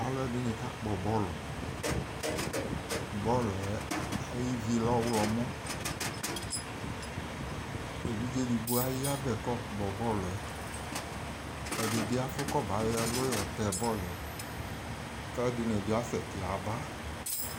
Aaluɛɖini kakpɔ bɔlu Bɔluɛ ayivi lɛ ɔwlɔmɔEvidze eɖigbo ayavɛ k'ɔkpɔ,,bɔluɛ, ɛɖini afu koba yɔ ɛluyɔtɛ bɔluɛ k'aluɛɖini bi asɛti yaaba